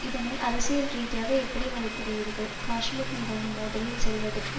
இதனை அரசியல் ரீதியாக எப்படி மதிப்பிடுகிறீர்கள் காஷ்மீர் மீதான மோதலில் செல்வதற்கு